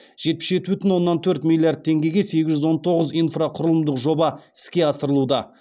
жетпіс жеті бүтін оннан төрт миллиард теңгеге сегіз жүз он тоғыз инфрақұрылымдық жоба іске асырылуда